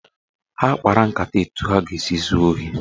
Ha kpara nkata etu ha ga-esi zuo ohi.